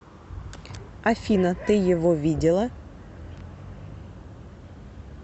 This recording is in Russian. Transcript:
афина ты его видела